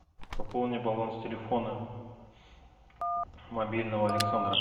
пополни баланс телефона мобильного александра